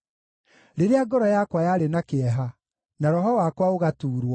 Rĩrĩa ngoro yakwa yarĩ na kĩeha na roho wakwa ũgatuurwo,